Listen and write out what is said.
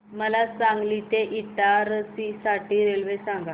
मला सांगली ते इटारसी साठी रेल्वे सांगा